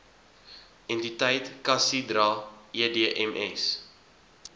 entiteit casidra edms